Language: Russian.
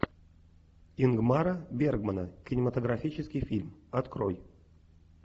ингмара бергмана кинематографический фильм открой